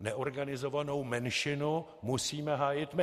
Neorganizovanou většinu musíme hájit my.